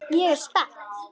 Ég er spennt.